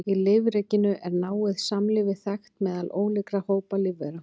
Í lífríkinu er náið samlífi þekkt meðal ólíkra hópa lífvera.